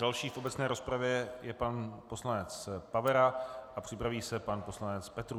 Další v obecné rozpravě je pan poslanec Pavera a připraví se pan poslanec Petrů.